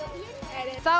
þá